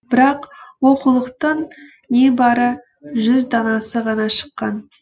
бірақ оқулықтың небары жүз данасы ғана шыққан